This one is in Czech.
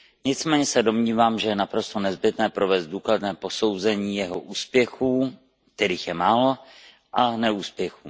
Nicméně se domnívám, že je naprosto nezbytné provést důkladné posouzení jeho úspěchů, kterých je málo, a neúspěchů.